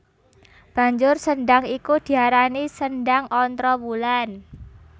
Banjur sendhang iku diarani Sendhang Ontrowulan